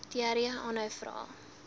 diarree aanhou vra